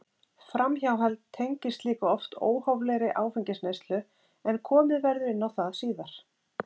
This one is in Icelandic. Framhjáhald tengist líka oft óhóflegri áfengisneyslu en komið verður inn á það síðar.